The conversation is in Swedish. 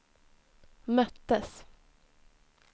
möttes